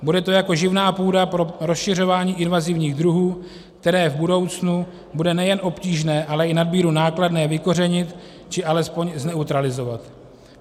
Bude to jako živná půda pro rozšiřování invazivních druhů, které v budoucnu bude nejen obtížné, ale i nadmíru nákladné vykořenit či alespoň zneutralizovat.